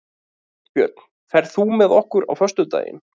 Kristbjörn, ferð þú með okkur á föstudaginn?